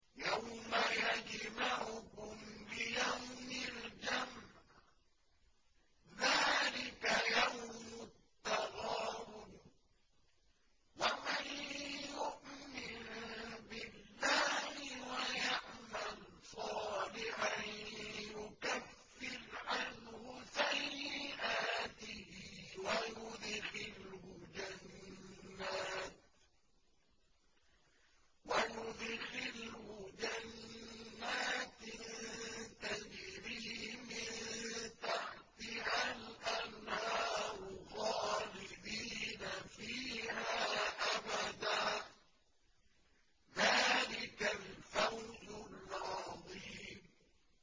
يَوْمَ يَجْمَعُكُمْ لِيَوْمِ الْجَمْعِ ۖ ذَٰلِكَ يَوْمُ التَّغَابُنِ ۗ وَمَن يُؤْمِن بِاللَّهِ وَيَعْمَلْ صَالِحًا يُكَفِّرْ عَنْهُ سَيِّئَاتِهِ وَيُدْخِلْهُ جَنَّاتٍ تَجْرِي مِن تَحْتِهَا الْأَنْهَارُ خَالِدِينَ فِيهَا أَبَدًا ۚ ذَٰلِكَ الْفَوْزُ الْعَظِيمُ